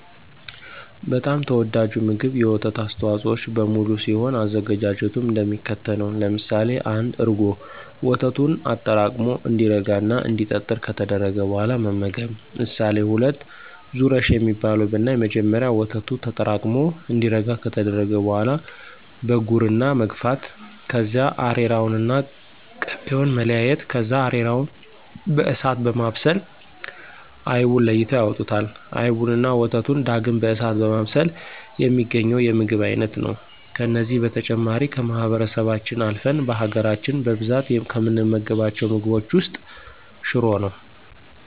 በጣም ተወዳጁ ምግብ የወተት አስተዋፆኦዎች በሙሉ ሲሆን አዘገጃጀቱም እንደሚከተለው ነው። ለምሳሌ1፦ እርጎ፦ ወተቱን አጠራቅሞ እንዲረጋ እና እንዲጠጥር ከተደረገ በኋላ መመገብ። ምሳሌ2፦ ዙረሽ የሚባለው ብናይ መጀመሪያ ወተቱ ተጠራቅሙ እንዲረጋ ከተደረገ በኋላ በጉርና መግፋት ከዚያ አሬራውንና ቅቤውን መለያየት ከዚያ አሬራውን በእሳት በማብሰል አይቡን ለይተው ያወጡታል። አይቡንና ወተቱን ዳግም በእሳት በማብሰል የሚገኘው የምግብን አይነት ነው። ከነዚህ በተጨማሪ ከማህበረሰባችን አልፍን በሀገራች በብዛት ከምንመገባቸው ምግቦች ውስጥ ሽሮ ነው።